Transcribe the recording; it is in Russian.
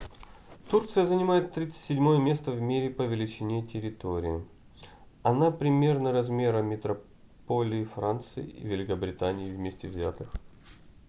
турция занимает 37-е место в мире по величине территории. она примерно размера метрополии франции и великобритании вместе взятыx